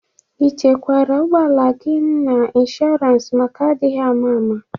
I chekwara ụgbọala gị n'inshụrans maka adịghị ama ama?